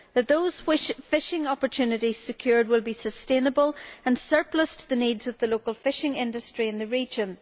that those fishing opportunities secured will be sustainable and surplus to the needs of the local fishing industry in the region